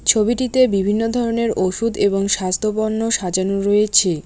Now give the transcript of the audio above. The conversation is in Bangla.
ছবিটিতে বিভিন্ন ধরনের ওষুধ এবং স্বাস্থ্য বর্ণ সাজানো রয়েছে।